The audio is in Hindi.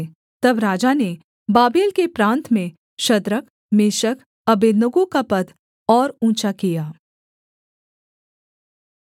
तब राजा ने बाबेल के प्रान्त में शद्रक मेशक अबेदनगो का पद और ऊँचा किया